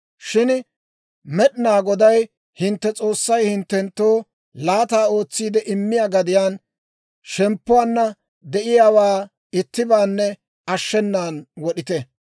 «Shin Med'inaa Goday hintte S'oossay hinttenttoo laata ootsiide immiyaa gadiyaan shemppuwaanna de'iyaawaa ittibaanne ashshenan wod'ite.